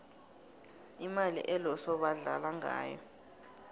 imali eloso badlala ngayo